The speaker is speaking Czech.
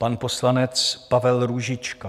Pan poslanec Pavel Růžička.